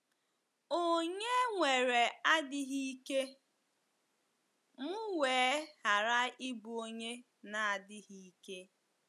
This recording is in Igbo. “ Ònye nwere adịghị ike, m wee ghara ịbụ onye na - adịghị ike?